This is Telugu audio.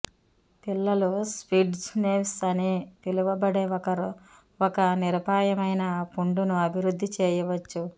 పిల్లలు స్పిట్జ్ నెవ్స్ అని పిలువబడే ఒక నిరపాయమైన పుండును అభివృద్ధి చేయవచ్చు